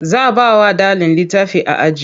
Za bawa ɗalin litafi a aji